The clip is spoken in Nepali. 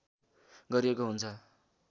गरिएको हुन्छ